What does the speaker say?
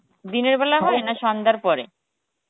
দিনের বেলা হয় না সন্ধার পরে?